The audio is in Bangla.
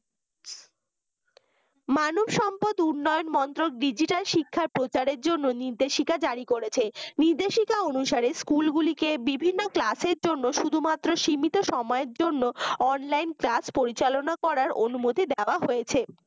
মানবসম্পদ উন্নয়ন মন্ত্রক digital শিক্ষার প্রচারের জন্য নির্দেশিকা জারি করেছে নির্দেশিকা অনুসারে school গুলিকে বিভিন্ন class এর জন্য শুধুমাত্র সীমিত সময়ের জন্য অনলাইন online class পরিচালনা করারঅনুমতি দেয়া হয়েছে